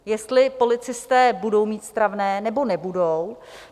Jestli policisté budou mít stravné, nebo nebudou.